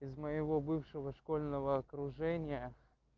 из моего бывшего школьного окружения